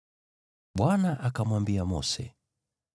Bwana akamwambia Mose,